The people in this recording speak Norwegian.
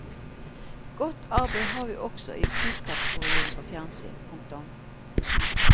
Godt arbeid har vi også sett i priskategoriene for fjernsyn. punktum